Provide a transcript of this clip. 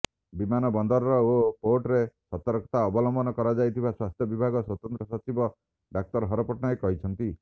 ବିମାନବନ୍ଦର ଓ ପୋର୍ଟରେ ସତର୍କତା ଅବଲମ୍ବନ କରାଯାଇଥିବା ସ୍ୱାସ୍ଥ୍ୟ ବିଭାଗ ସ୍ୱତନ୍ତ୍ର ସଚିବ ଡାକ୍ତର ହର ପଟ୍ଟନାୟକ କହିଛନ୍ତି